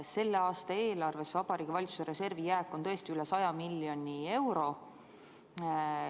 Selle aasta eelarves on Vabariigi Valitsuse reservi jääk tõesti üle 100 miljoni euro.